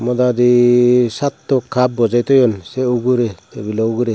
hodadi satto cup boje toyon se ugure tabilo ugure.